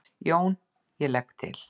JÓN: Ég legg til.